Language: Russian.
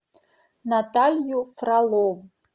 наталью фролову